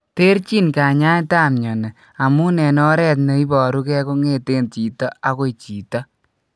Terchin kanyaetap mioni amun en oret ne iporuge kongeten chito agoi chito.